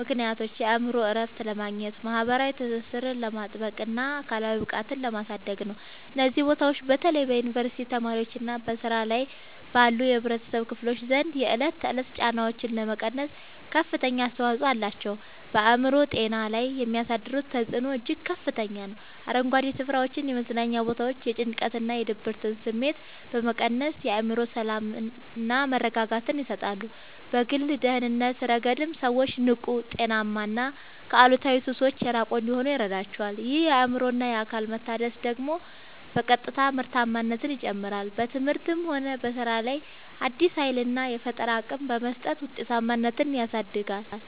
ምክንያቶች የአእምሮ እረፍት ለማግኘት፣ ማኅበራዊ ትስስርን ለማጥበቅና አካላዊ ብቃትን ለማሳደግ ነው። እነዚህ ቦታዎች በተለይ በዩኒቨርሲቲ ተማሪዎችና በሥራ ላይ ባሉ የኅብረተሰብ ክፍሎች ዘንድ የዕለት ተዕለት ጫናዎችን ለመቀነስ ከፍተኛ አስተዋጽኦ አላቸው። በአእምሮ ጤና ላይ የሚያሳድሩት ተጽዕኖ እጅግ ከፍተኛ ነው፤ አረንጓዴ ስፍራዎችና የመዝናኛ ቦታዎች የጭንቀትና የድብርት ስሜትን በመቀነስ የአእምሮ ሰላምና መረጋጋትን ይሰጣሉ። በግል ደህንነት ረገድም ሰዎች ንቁ: ጤናማና ከአሉታዊ ሱሶች የራቁ እንዲሆኑ ይረዳቸዋል። ይህ የአእምሮና አካል መታደስ ደግሞ በቀጥታ ምርታማነትን ይጨምራል: በትምህርትም ሆነ በሥራ ላይ አዲስ ኃይልና የፈጠራ አቅም በመስጠት ውጤታማነትን ያሳድጋል።